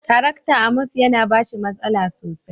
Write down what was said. Tarakta. " Amos" ya na bashi masala sosai